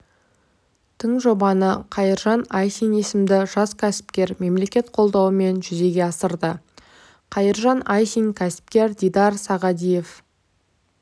тың жобаны қайыржан айсин есімді жас кәсіпкер мемлекет қолдауымен жүзеге асырды қайыржан айсин кәсіпкер дидар сағадиев